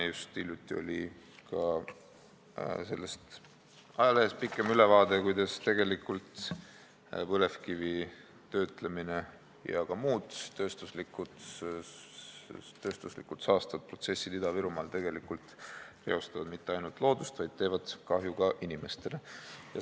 Just hiljuti oli ka ajalehes pikem ülevaade, kuidas põlevkivi töötlemine ja ka muud saastavad protsessid Ida-Virumaal ei reosta mitte ainult loodust, vaid teevad kahju ka inimestele.